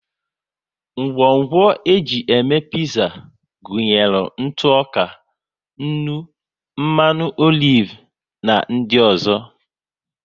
Ngwongwo e ji eme piza gụnyere ntụ ọka, nnu, mmanụ olive na di ọzọ